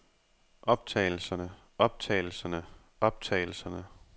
optagelserne optagelserne optagelserne